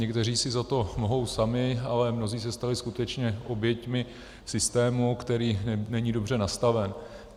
Někteří si za to mohou sami, ale mnozí se stali skutečně oběťmi systému, který není dobře nastaven.